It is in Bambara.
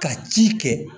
Ka ci kɛ